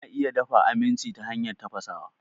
Ana iya dafa aminci ta hanyar tafasawa.